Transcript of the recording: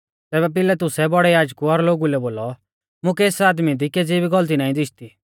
तैबै पिलातुसै बौड़ै याजकु और लोगु लै बोलौ मुकै एस आदमी दी केज़ी भी गौलती नाईं दिशदी